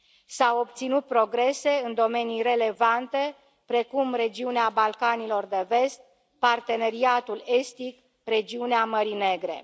S au obținut progrese în domenii relevante, precum regiunea Balcanilor de Vest, Parteneriatul Estic, regiunea Mării Negre.